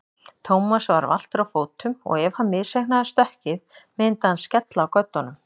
Thomas var valtur á fótum og ef hann misreiknaði stökkið myndi hann skella á göddunum.